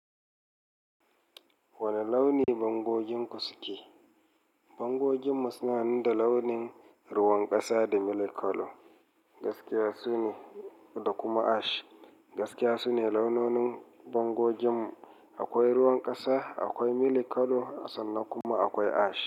Wane launi bango ginku suke? Bango gimu suna da launin ruwan ƙasa da milky color. Gaskiya sune, da kuma ash. Gaskiya su ne launonin bango gimu. Akwai ruwan ƙasa, akwai milky color sannan kuma akwai ash.